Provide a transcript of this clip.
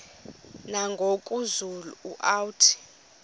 nangoku zulu uauthi